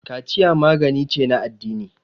kaciya magani ce na addini